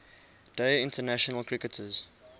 day international cricketers